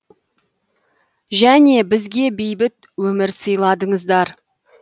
және бізге бейбіт өмір сыйладыңыздар